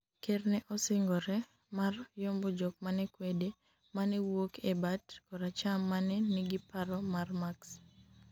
ker ne osingore mar yombo jok manekwede mane wuok e bat koracham mane nigiparo mar Marxi